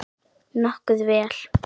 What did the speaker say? Nokkuð vel.